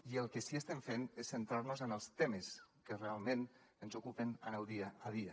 i el que sí estem fent és centrar nos en els temes que realment ens ocupen en el dia a dia